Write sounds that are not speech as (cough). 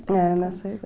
É, nessa (unintelligible)